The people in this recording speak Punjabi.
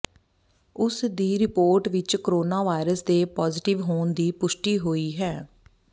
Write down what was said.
ਉਸ ਦੀ ਰਿਪੋਰਟ ਵਿਚ ਕੋਰੋਨਾ ਵਾਇਰਸ ਦੇ ਪਾਜ਼ੀਟਿਵ ਹੋਣ ਦੀ ਪੁਸ਼ਟੀ ਹੋਈ ਹੈ